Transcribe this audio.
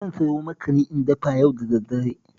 Zan sayo makani in dafa yau da daddare